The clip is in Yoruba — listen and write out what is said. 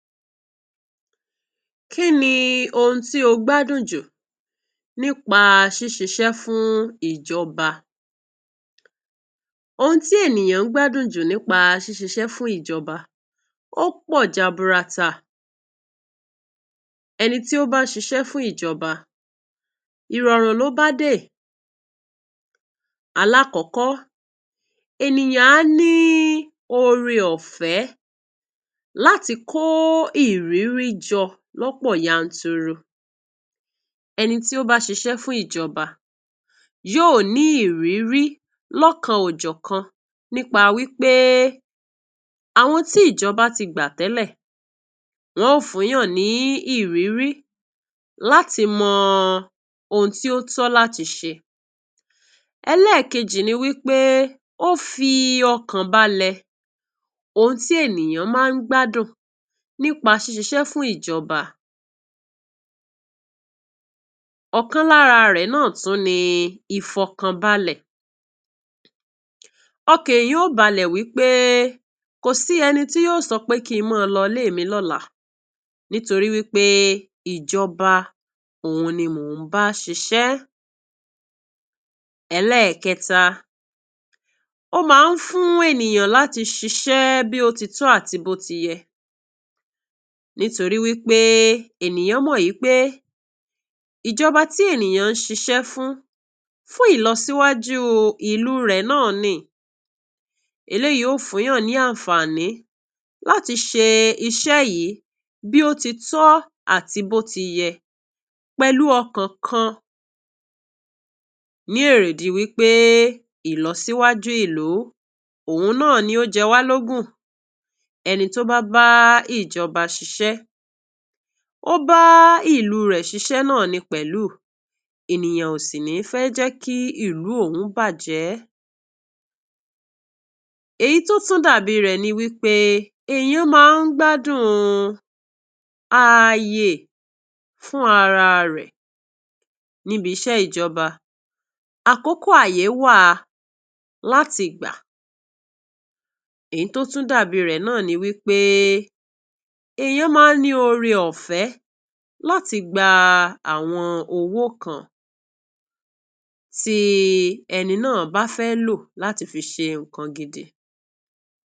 Kín ni ohun tí ó gbádùn jùú nípa ṣíṣíṣe fún ìjọba? Ohun tí ènìyàn gbádùn jùú nípa ṣíṣíṣe fún ìjọba ò pọ̀ jàbùrátà. Ẹni tí ó bá ṣíṣe fún ìjọba ìròrùn ló bá dé. Àkọ́kọ́, ènìyàn á ní ọ̀rẹ́ ọ̀fẹ́ láti kó irírí jọ lọ́pọ̀ yàntúrù. Ẹni tí ó bá ṣíṣe fún ìjọba yóò ní irírí lókàn ọ̀kan nípa wípé àwọn tí ìjọba ti gba tẹ́lẹ̀, wọ́n ó fún yàn ní irírí láti mọ ohun tí ó tó láti ṣe. Ẹlẹ́kejì ni wípé ó fì ọkàn balẹ̀. Ohun tí ènìyàn máa ń gbádùn nípa ṣíṣíṣe fún ìjọba ọ̀kan lára rẹ̀ náà tún ni ìfẹ́ọkànbalẹ̀. Ọkàn ènìyàn yóò balẹ̀ wípé kò sí ẹni tí yóò sọ pé kí n máa lọ ọ́lé mi lọ́la, nítorí wípé ìjọba òun ni mo ń bá ṣíṣe. Ẹlẹ́ẹ̀kẹta ó máa ń fún ènìyàn láti ṣíṣe bí bóótítọ́ àti bó ti yé, nítorí wípé ènìyàn mọ̀ wípé ìjọba tí ènìyàn ṣíṣe fún, fún ìlòsíwájú ìlú rẹ̀ náà ni. Èyí yóò fún yàn ní àǹfààní láti ṣe iṣẹ́ yìí bóótítọ́ àti bó ti yé pẹ̀lú ọkàn kan ní èrè, ìdí wípé ìlòsíwájú ìlú òun náà ni ó jẹ́ wá lógún. Ẹni tó bá bá ìjọba ṣíṣe, ọba ìlú rẹ̀ ni ó ṣíṣe. Náàní pẹ̀lú ènìyàn òsì, ni fẹ́ jẹ́ kí ìlú òhun bàjẹ́. Èyí tó tún dàbí rẹ̀ ni wípé ènìyàn máa ń gbádùn ayé fún ararẹ̀ níbi iṣẹ́ ìjọba. Àkọ́kọ́, ayé wà láti gba. Èyí tó tún dàbí rẹ̀ náni wípé ènìyàn máa ní ọ̀rẹ́ ọ̀fẹ́ láti gba àwọn kan tí ènìyàn bá fẹ́ lọ láti fi ṣe nkan gidi.